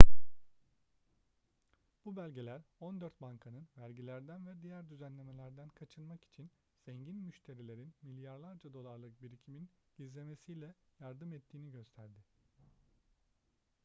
bu belgeler on dört bankanın vergilerden ve diğer düzenlemelerden kaçınmak için zengin müşterilerin milyarlarca dolarlık birikimin gizlemesine yardım ettiğini gösterdi